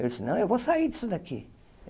Eu disse, não, eu vou sair disso daqui.